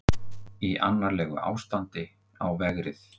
Í annarlegu ástandi á vegrið